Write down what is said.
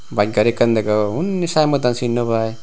bus gari ekkan degong undi sign board an cin naw paai.